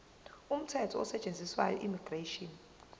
umthetho osetshenziswayo immigration